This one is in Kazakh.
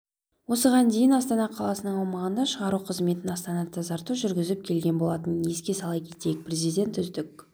осыған дейін астана қаласының аумағында шығару қызметін астана-тазарту жүргізіп келген болатын еске сала кетейік президент үздік